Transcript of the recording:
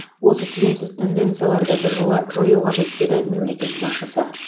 осы тиімсіз тенденцияларды біржола жою қажет деді мемлекет басшысы